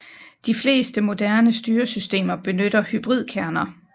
De fleste moderne styresystemer benytter hybridkerner